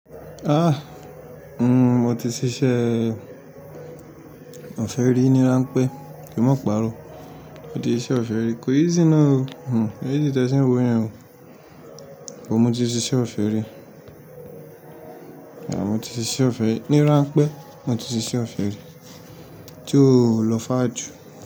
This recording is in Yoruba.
Àh! Mo ti ṣiṣẹ́ ọ̀fẹ́ rí ni wọ́n ń pè é, kí n má pa'rọ́. Mo ti ṣe ọ̀fẹ́ rí. Kò easy náà o. Kò easy tẹ́ ṣe n wọ yẹn o. Mo ti ṣe ọ̀fẹ́ rí. Mo ti siṣe ọ̀fẹ́ rí. Ni ráńpẹ́, mo ti ṣise ọ̀fẹ́ rí. Tí ó lọ fàà jù.